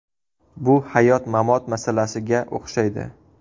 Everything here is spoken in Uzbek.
Bu hayot-mamot masalasiga o‘xshaydi.